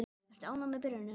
Ertu ánægður með byrjunina?